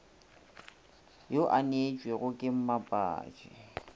yo a neetšwego ke mmapatši